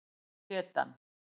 Hét hann